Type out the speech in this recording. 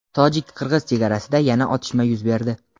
Tojik-qirg‘iz chegarasida yana otishma yuz berdi.